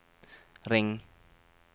ring